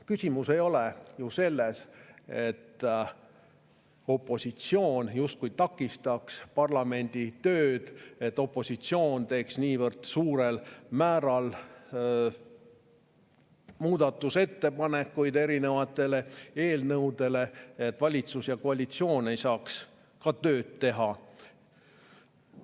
Küsimus ei ole ju selles, nagu opositsioon takistaks parlamendi tööd, nagu opositsioon teeks niivõrd suurel määral muudatusettepanekuid erinevate eelnõude kohta, et valitsus ja koalitsioon ei saaks tööd teha.